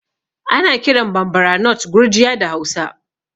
Ana kiran Bambara nut Gurjiya da Hausa